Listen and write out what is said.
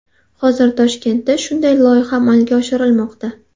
Hozir Toshkentda shunday loyiha amalga oshirilmoqda.